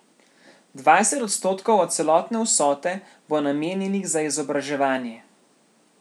Dvajset odstotkov od celotne vsote bo namenjenih za izobraževanje.